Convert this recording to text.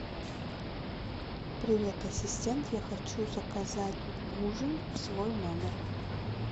привет ассистент я хочу заказать ужин в свой номер